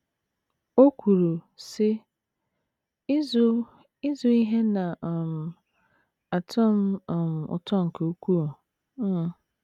O kwuru, sị: “ Ịzụ Ịzụ ihe na - um atọ um m ụtọ nke ukwuu. um ”